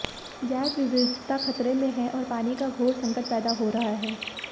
जैव विविधता खतरे में है और पानी का घोर संकट पैदा हो रहा है